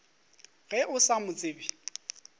ge o sa mo tsebe